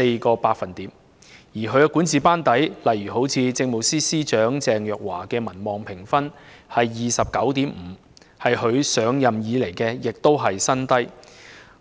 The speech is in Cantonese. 至於她的管治班底，律政司司長鄭若驊的民望評分為 29.5， 是她上任以來的新低；